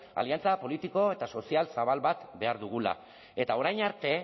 aliantza politiko eta sozial zabal bat behar dugula eta orain arte